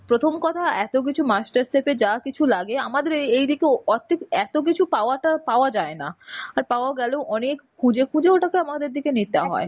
প্রথম কথা এত কিছু master chef এ যা কিছু লাগে আমাদের এই এই দিকে ওর~ এত্তো কিছু পাওয়াটা পাওয়া যায়না. আর পাওয়া গেলেও অনেক খুঁজে খুঁজে ওটাকে আমাদের দিকে নিতে হয়.